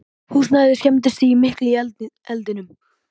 Húsnæðið skemmdist mikið í eldinum